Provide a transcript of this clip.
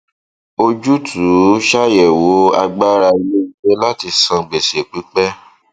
ojútùú ṣàyẹwò agbára iléiṣẹ láti san gbèsè pípẹ